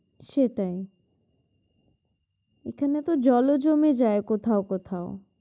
সেটাই এখানে তো জলও জমে যায় কোথাও কোথাও